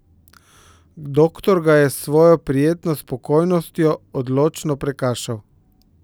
Doktor ga je s svojo prijetno spokojnostjo odločno prekašal.